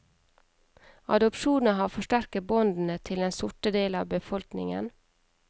Adopsjonen har forsterket båndene til den sorte del av befolkningen.